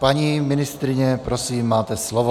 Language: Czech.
Paní ministryně, prosím, máte slovo.